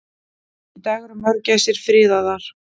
Í dag eru mörgæsir friðaðar.